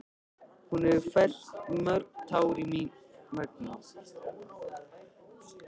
Hún hefur fellt mörg tár mín vegna.